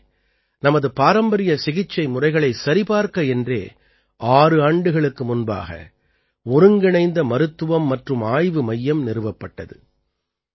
இங்கே நமது பாரம்பரிய சிகிச்சை முறைகளைச் சரிபார்க்க என்றே ஆறு ஆண்டுகளுக்கு முன்பாக ஒருங்கிணைந்த மருத்துவம் மற்றும் ஆய்வு மையம் நிறுவப்பட்டது